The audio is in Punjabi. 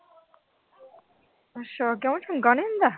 ਅੱਛਾ ਕਿਉਂ ਚੰਗਾ ਨੀ ਹੁੰਦਾ।